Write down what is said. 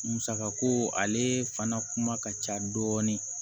Musaka ko ale fana kuma ka ca dɔɔni